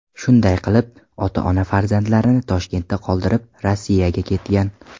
Shunday qilib, ota-ona farzandlarini Toshkentda qoldirib, Rossiyaga ketgan.